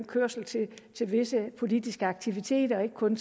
kørsel til visse politiske aktiviteter og ikke kun